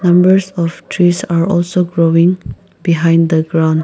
numbers of trees are also growing behind the ground.